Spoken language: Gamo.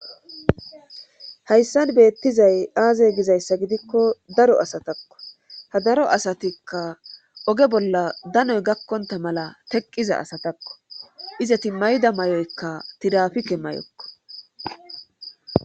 hayssan beettizay aaze gizayssa gidikko daro asatakko ha daro asatikka oge bolla danoy gakkonta mala teqqiza asatakko izati mayida may7oykka tirafike may7okko